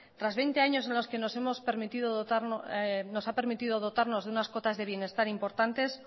tras veinte años en los que nos ha permitido dotarnos de unas cotas de bienestar importantes